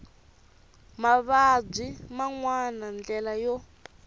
mavabyi man wana ndlela yo